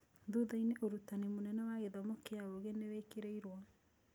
Thutha-inĩ, ũtuĩria mũnene wa gĩthomo kĩa ũũgĩ nĩ wekĩrirũo.